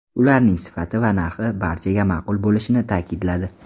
Ularning sifati va narxi barchaga ma’qul bo‘lishini ta’kidladi.